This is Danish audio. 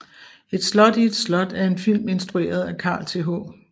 Et slot i et slot er en film instrueret af Carl Th